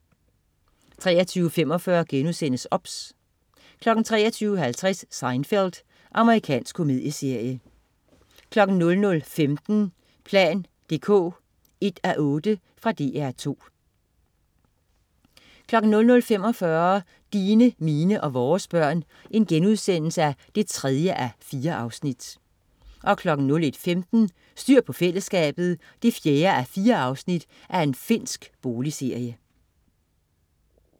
23.45 OBS* 23.50 Seinfeld. Amerikansk komedieserie 00.15 plan dk 1:8. Fra DR 2 00.45 Dine, mine og vores børn 3:4* 01.15 Styr på fællesskabet 4:4. Finsk boligserie